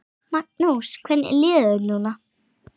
Magnús: Hvernig líður þér núna?